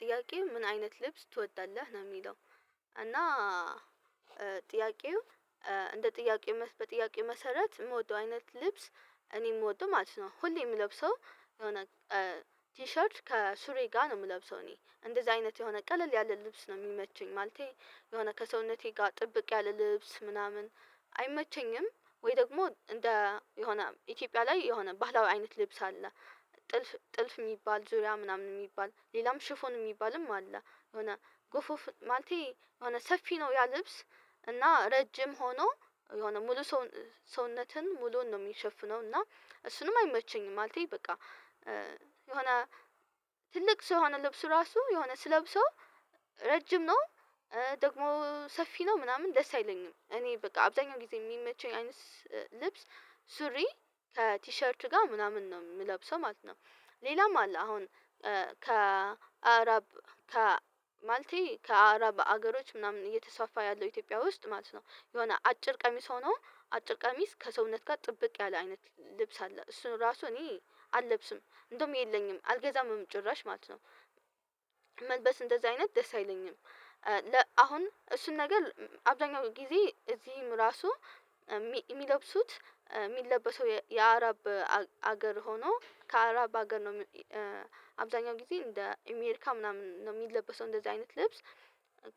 ጥያቄው ምን አይነት ልብስ ትወዳለህ ነው የሚለው? እና ጥያቄው እንደ ጥያቄው በጥያቄው መሰረት የምወደው አይነት ልብስ እኔ የምወደው ማለት ነው። ሁሌ የምለብሰው የሆነ ቲሸርች ከሱሪ ጋር ነው የምለብሰው እኔ እንደዚህ አይነት የሆነ ቀለል ያለ ልብስ ነው የሚመቹኝ ማለቴ የሆነ ከሰውነቴ ጋር ጥብቅ ያለ ልብስ ምናምን አይመቸኝም ወይ ደግሞ እንደ የሆነ ኢትዮጵያ ላይ የሆነ ባህላዊ አይነት ልብስ አለ። ጥልፍ ጥልፍ የሚባል ዙሪያ ምናምን የሚባል ሌላም ሽፎን የሚባልም አለ። የሆነ ጎፍ ኦፍ ማንቴ የሆነ ሰፊ ነው ያ ልብስ እና ረጅም ሆኖ የሆነ ሙሉ ሰውነትን ሙሉውን ነው የሚሸፍነው እና እሱንም አይመቸኝም። ማለቴ በቃ የሆነ ትልቅ ሰው የሆነ ልብሱ ራሱ የሆነ ስለብሰው ረጅም ነው ደግሞ ሰፊ ነው ምናምን ደስ አይለኝም። እኔ በቃ አብዛኛው ጊዜ የሚመቸኝ አይነት ልብስ ሱሪ ቲሸርት ጋር ምናምን ነው የምለብሰው ማለት ነው። ሌላም አለ አሁን ከአረብ ከማልቲ ከአረብ ሀገሮች ምናምን እየተሳፋ ያለው ኢትዮጵያ ውስጥ ማለት ነው የሆነ አጭር ቀሚስ ሆኖ አጭር ቀሚስ ከሰውነት ጋር ጥብቅ ያለ አይነት ልብስ አለ እሱን ራሱ እኔ አልለብስም እንደውም የለኝም አልገዛም ጭራሽ ማለት ነው። መልበስ እንደዚህ አይነት ደስ አይለኝም። አሁን እሱን ነገር አብዛኛው ጊዜ እዚህም ራሱ የሚለብሱት የሚለበሰው የአረብ ሀገር ሆኖ ከአረብ ሀገር ነው። አብዛኛው ጊዜ እንደ አሜሪካ ምናምን ነው የሚለበሰው። እንደዚህ አይነት ልብስ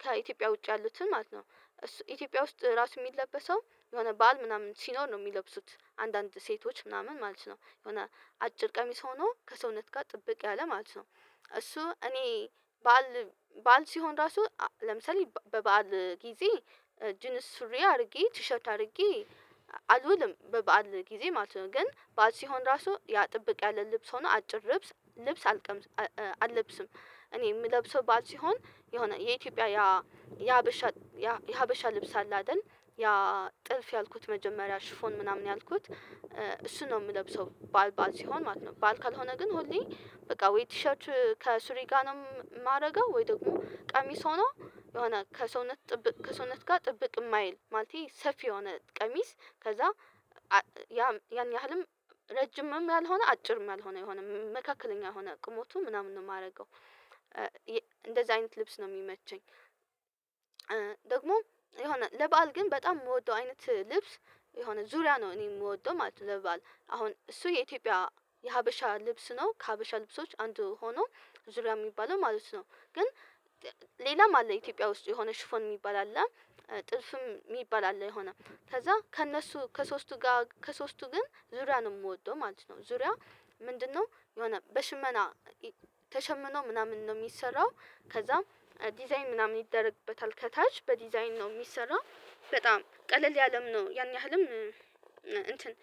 ከኢትዮጵያ ውጪ ያሉትን ማለት ነው እሱ ኢትዮጵያ ውስጥ ራሱ የሚለበሰው የሆነ በዓል ምናምን ሲኖር ነው የሚለብሱት አንዳንድ ሴቶች ምናምን ማለት ነው። የሆነ አጭር ቀሚስ ሆኖ ከሰውነት ጋር ጥብቅ ያለ ማለት ነው። እሱ እኔ በዓል ሲሆን ራሱ ለምሳሌ በበዓል ጊዜ ጂንስ ሱሪ አድርጌ ቲሸት አድርጌ አልውልም በበዓል ጊዜ ማለት ነው ግን በዓል ሲሆን ራሱ ያ ጥብቅ ያለ ልብስ ሆኖ አጭር ልብስ ልብስ አልለብስም። እኔ የምለብሰው በዓል ሲሆን የሆነ የኢትዮጵያ ያ ያሀበሻ ያ የሀበሻ ያ የሀበሻ ልብስ አለ አይደል ያ ጥልፍ ያልኩት መጀመሪያ ሽፎን ምናምን ያልኩት እሱን ነው የምለብሰው በዓል በዓል ሲሆን ማለት ነው። በዓል ካልሆነ ግን ሁሌ በቃ ወይ ቲሸርች ከሱሪ ጋር ነው የማደርገው። ወይ ደግሞ ቀሚስ ሆኖ የሆነ ከሰውነት ጥብቅ ከሰውነት ጋር ጥብቅ የማይል ማለቴ ሰፊ የሆነ ቀሚስ ከዛ ያን ያህልም ረጅምም ያልሆነ አጭርም ያልሆነ የሆነ መካከለኛ የሆነ ቁመቱ ምናምን ነው የማደርገው። እንደዚህ አይነት ልብስ ነው የሚመቸኝ። ደግሞ የሆነ ለበአል ግን በጣም የምወደው አይነት ልብስ የሆነ ዙሪያ ነው እኔ የምወደው ማለት ነው ለበአል አሁን እሱ የኢትዮጵያ የሀበሻ ልብስ ነው ከሀበሻ ልብሶች አንዱ ሆኖ ዙሪያ የሚባለው ማለት ነው። ግን ሌላም አለ ኢትዮጵያ ውስጥ የሆነ ሽፎን የሚባል አለ። ጥልፍም የሚባል አለ የሆነ ከዛ ከእነሱ ከሶስቱ ጋር ከሶስቱ ግን ዙሪያ ነው የምወደው ማለት ነው። ዙሪያ ምንድነው? የሆነ በሽመና ተሸምኖ ምናምን ነው የሚሰራው ከዛም ዲዛይን ምናምን ይደረግበታል ከታች በዲዛይን ነው የሚሰራው በጣም ቀለል ያለም ነው ያን ያህልም እንትን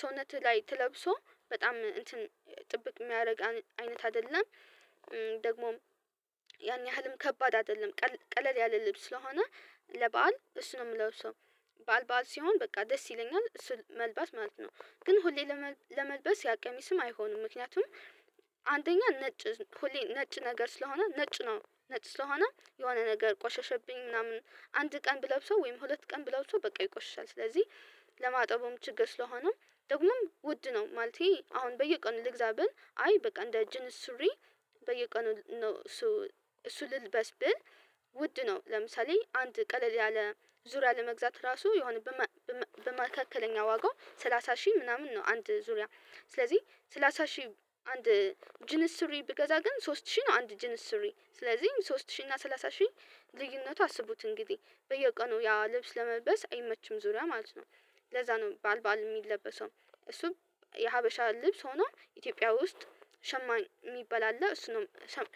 ሰውነትህ ላይ ተለብሶ በጣም እንትን ጥብቅ የሚያደርግ አይነት አይደለም። ደግሞም ያን ያህልም ከባድ አይደለም። ቀለል ያለ ልብስ ስለሆነ ለበአል እሱ ነው የምለብሰው ሰው በዓል በዓል ሲሆን በቃ ደስ ይለኛል እሱ መልበስ ማለት ነው። ግን ሁሌ ለመልበስ ያ ቀሚስም አይሆንም ምክንያቱም አንደኛ ነጭ ሁሌ ነጭ ነገር ስለሆነ ነጭ ነው ነጭ ስለሆነ የሆነ ነገር ቆሸሸብኝ ምናምን አንድ ቀን ብለብሰው ወይም ሁለት ቀን ብለብሰው በቃ ይቆሽሻል። ስለዚህ ለማጠቡም ችግር ስለሆነም ደግሞም ውድ ነው ማለቴ አሁን በየቀኑ ልግዛ ብል አይ በቃ እንደ ጅንስ ሱሪ። በየቀኑ ነው እሱ እሱ ልልበስ ብል ውድ ነው። ለምሳሌ አንድ ቀለል ያለ ዙሪያ ለመግዛት ራሱ የሆነ በመካከለኛ ዋጋው ሰላሳ ሺህ ምናምን ነው አንድ ዙሪያ ስለዚህ ሰላሳ ሺህ አንድ ጅንስ ሱሪ ብገዛ ግን ሶስት ሺህ ነው አንድ ጅንስ ሱሪ ስለዚህም ሶስት ሺህ እና ሰላሳ ሺህ ልዩነቱን አስቡት እንግዲህ በየቀኑ ያ ልብስ ለመልበስ አይመችም ዙሪያ ማለት ነው። ለዛ ነው በዓል በዓል የሚለበሰው እሱ የሀበሻ ልብስ ሆኖ ኢትዮጵያ ውስጥ ሸማኝ የሚበላ አለ እሱንም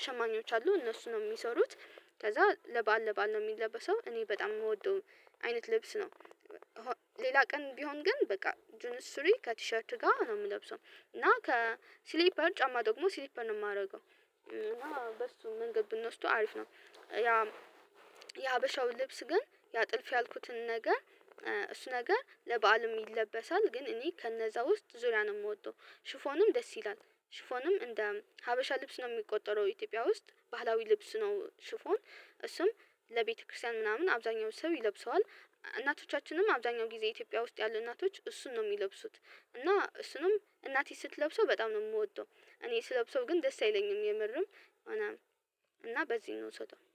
ሸማኞች አሉ እነሱንም የሚሰሩት ከዛ ለበአል ለበአል ነው የሚለበሰው እኔ በጣም የምወደው አይነት ልብስ ነው። ሌላ ቀን ቢሆን ግን በቃ ጅንስ ሱሪ ከቲሸርት ጋር ነው የምለብሰው እና ከስሊፐር ጫማ ደግሞ ስሊፐር ነው የማደርገው። እና በሱ መንገድ ብንወስደው አሪፍ ነው። ያ የሀበሻው ልብስ ግን ያ ጥልፍ ያልኩትን ነገር እሱ ነገር ለበዓልም ይለበሳል ግን እኔ ከነዛ ውስጥ ዙሪያ ነው የምወደው። ሽፎንም ደስ ይላል። ሽፎንም እንደ ሀበሻ ልብስ ነው የሚቆጠረው ኢትዮጵያ ውስጥ ባህላዊ ልብስ ነው ሽፎን እሱም ለቤተክርስቲያን ምናምን አብዛኛው ሰው ይለብሰዋል። እናቶቻችንም አብዛኛው ጊዜ ኢትዮጵያ ውስጥ ያሉ እናቶች እሱን ነው የሚለብሱት። እና እሱንም እናቴ ስትለብሰው በጣም ነው የምወደው። እኔ ስለብሰው ግን ደስ አይለኝም የምርም እና እና በዚህ እንውስሰደው